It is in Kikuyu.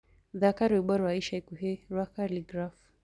thaka rwĩmbo rwa ica ĩkũhĩ rwa khaligraph